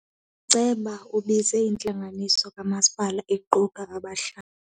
Uceba ubize intlanganiso kamasipala equka abahlali.